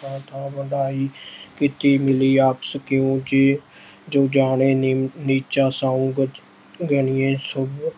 ਥਾਂ-ਥਾਂ ਵਡਿਆਈ ਕੀਤੀ ਮਿਲੀ। ਆਪਸ ਕਉ ਜੋ ਜਾਣੈ ਨੀਚਾ ॥ ਸੋਊ ਗਨੀਐ ਸਭ